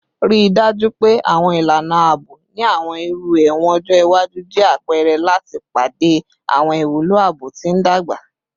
Rii daju pe awọn ilana aabo ni awọn iru ẹwọn ọjọ iwaju jẹ apẹrẹ lati pade awọn iwulo aabo ti ndagba